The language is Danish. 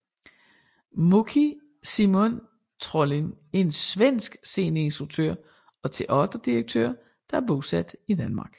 Moqi Simon Trolin er en svensk sceneinstruktør og teaterdirektør der er bosat i Danmark